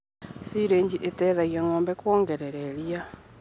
Silĩji iteithagia ngombe kuongerera iria.